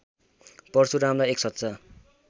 परशुरामलाई एक सच्चा